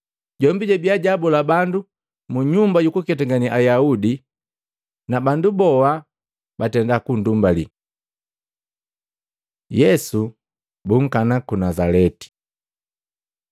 Jombi jabiya jaabola bandu mu nyumba yabu yukuketangane Ayaudi, na bandu boha batenda kundumbali. Yesu bunkana ku Nazaleti Matei 13:53-58; Maluko 6:1-6